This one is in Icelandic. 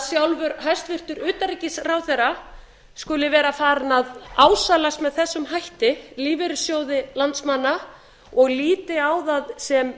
sjálfur hæstvirts utanríkisráðherra skuli vera farinn að ásælast með þessum hætti lífeyrissjóði landsmanna og líti á það sem